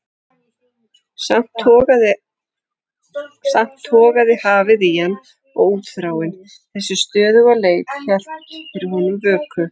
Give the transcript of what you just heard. Samt togaði hafið í hann og útþráin, þessi stöðuga leit, hélt fyrir honum vöku.